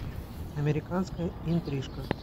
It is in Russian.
американская интрижка